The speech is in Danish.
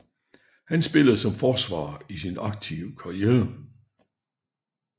Han spillede som forsvar i sin aktive karriere